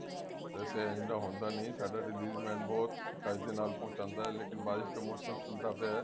ਵੈਸੇ ਇੰਝ ਤਾਂ ਹੁੰਦਾ ਨੀ ਸਾਡਾ delivery man ਬਹੁਤ ਚੱਜ ਦੇ ਨਾਲ ਪਹੁੰਚਾਉਂਦਾ ਐ ਲੇਕਿਨ ਬਾਰਿਸ਼ ਦਾ ਮੋਸਮ ਚੱਲਦਾ ਪਿਆ